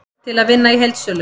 Til að vinna í heildsölu